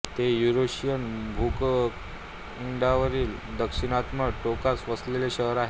ते युरेशियन भूखंडावरील दक्षिणतम टोकास वसलेले शहर आहे